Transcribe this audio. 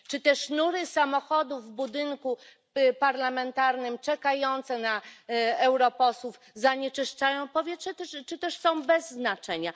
Czy te sznury samochodów w budynku parlamentarnym czekające na europosłów zanieczyszczają powietrze, czy też są bez znaczenia?